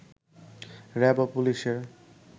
RAB ও পুলিশের